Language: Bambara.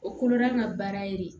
O kolo n'an ka baara ye